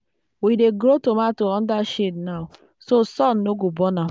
we dey grow tomato under shade now so sun no go burn am.